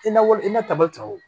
I na wali i na tabali ta o